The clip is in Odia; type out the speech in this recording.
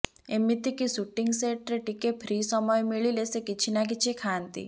ଏମିତିକି ଶୁଟିଂ ସେଟ୍ରେ ଟିକେ ଫ୍ରି ସମୟ ମିଳିଲେ ସେ କିଛି ନା କିଛି ଖାଆନ୍ତି